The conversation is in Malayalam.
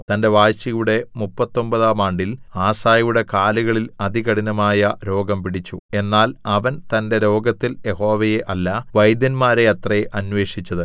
തന്റെ വാഴ്ചയുടെ മുപ്പത്തൊമ്പതാം ആണ്ടിൽ ആസയുടെ കാലുകളിൽ അതികഠിനമായ രോഗം പിടിച്ചു എന്നാൽ അവൻ തന്റെ രോഗത്തിൽ യഹോവയെ അല്ല വൈദ്യന്മാരെ അത്രേ അന്വേഷിച്ചത്